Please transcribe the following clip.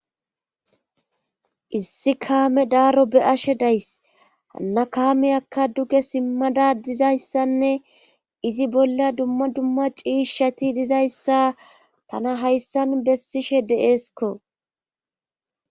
issi kaame daaro be ashe days hanna kaameyakka duge simmada dizayssanne izi bolla dumma dumma ciishshati dizayssa tana hayssa nu bessishe deeeskko